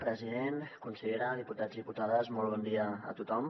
president consellera diputats i diputades molt bon dia a tothom